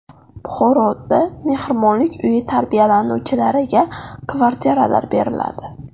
Buxoroda mehribonlik uyi tarbiyalanuvchilariga kvartiralar beriladi.